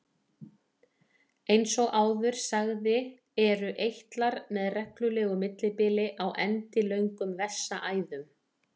Eins og áður sagði eru eitlar með reglulegu millibili á endilöngum vessaæðum.